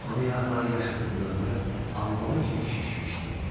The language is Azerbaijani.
Onun yanaqları yaş idi, dodaqları albalı kimi şişmişdi.